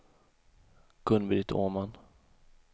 Gun-Britt Åman